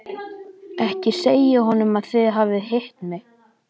Ekki segja honum að þið hafið hitt mig.